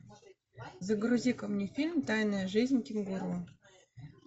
загрузи ка мне фильм тайная жизнь кенгуру